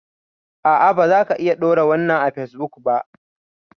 A'a bazaka iya ɗora wannan a fesbuk ba